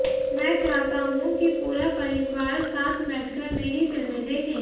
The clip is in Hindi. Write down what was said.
मैं चाहता हूं कि पूरा परिवार साथ बैठकर मेरी फिल्में देखे